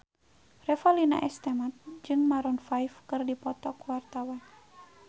Revalina S. Temat jeung Maroon 5 keur dipoto ku wartawan